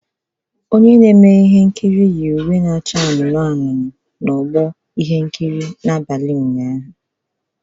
Onye na-eme ihe nkiri yi uwe na-acha anụnụ anụnụ n'ọsọ n'abalị ụnyaahụ